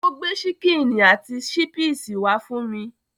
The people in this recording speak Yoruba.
Ó gbé ṣíkínì àti ṣípìsì wá fún mi.